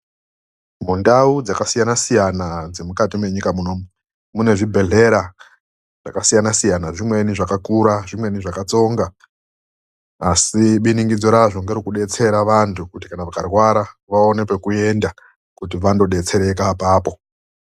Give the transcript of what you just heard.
Mundau dzakasiyanasiyana dzemukati menyika ino munezvibhehlera zvakasiyana siyina. Zvimweni zvakakura, zvimweni zvakatsonga asi biningidzo razvo riri rekubetsera vantu kuti kana vakarwara vaone pekuenda kuti vandobetsereka apapo.